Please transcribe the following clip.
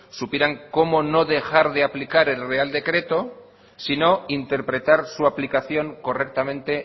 supieran cómo no dejar de aplicar el real decreto sino interpretar su aplicación correctamente